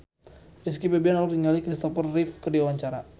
Rizky Febian olohok ningali Christopher Reeve keur diwawancara